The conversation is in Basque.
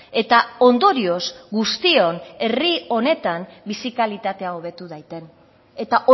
eta ondorioz guztion herri honetan bizi kalitatea hobetu daiten eta